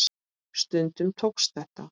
Stundum tókst þetta.